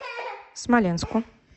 смоленску